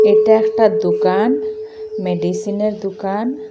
এটা একটা দুকান মেডিসিনের দুকান।